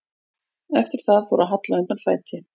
Eftir það fór að halla undan fæti.